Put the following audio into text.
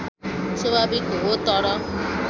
स्वाभाविक हो तर